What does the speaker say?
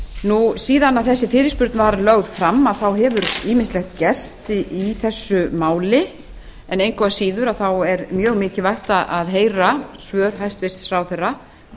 nú síðan að þessi fyrirspurn var lögð fram þá hefur ýmislegt gerst í þessu máli en engu að síður þá er mjög mikilvægt að heyra svör hæstvirtur ráðherra